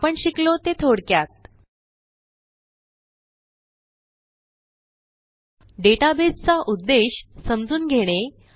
आपण शिकलो ते थोडक्यात डेटाबेस चा उद्देश समजून घेणे